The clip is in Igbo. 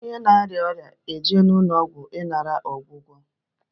Onye na-arịa ọrịa na-eje n'ụlọ ọgwụ ịnara ọgwụgwọ.